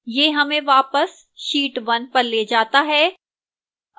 यह हमें वापस sheet 1 पर ले जाता है